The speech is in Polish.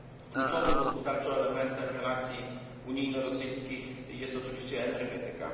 Kluczowym gospodarczo elementem relacji unijno rosyjskich jest oczywiście energetyka.